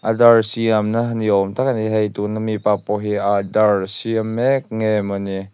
adhaar siamna ni awm tak mai a ni a hei tuna mi pa pawh hi a adhaar siam mek nge maw ni.